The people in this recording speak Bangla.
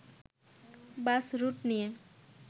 বাস রুট নিয়ে